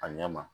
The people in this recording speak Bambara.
A ɲɛ ma